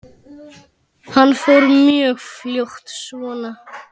Hann fór mjög fljótt svona.